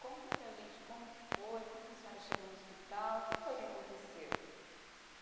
Conta para gente como que foi, como que a senhora chegou no hospital, o que foi que aconteceu?